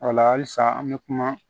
O la halisa an bɛ kuma